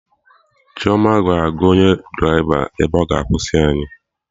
Chioma ga-agwa onye draịva ebe ọ ga-akwụsị anyị